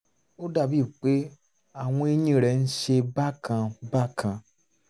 ó dàbíi pé àwọn eyín rẹ̀ ń ṣe bákan bákan